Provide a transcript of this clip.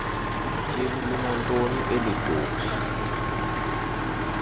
tyhini linantonina elitopi